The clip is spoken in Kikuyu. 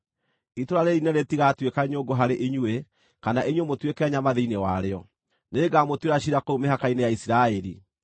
Itũũra rĩĩrĩ inene rĩtigatuĩka nyũngũ harĩ inyuĩ, kana inyuĩ mũtuĩke nyama thĩinĩ warĩo; nĩngamũtuĩra ciira kũu mĩhaka-inĩ ya Isiraeli.